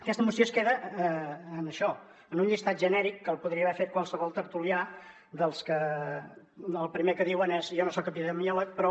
aquesta moció es queda en això en un llistat genèric que el podria haver fet qualsevol tertulià dels que el primer que diuen és jo no soc epidemiòleg però